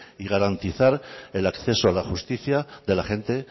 y garantizar el acceso a la justicia de la gente